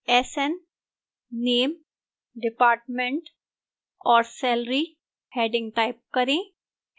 sn name department और salary headings type करें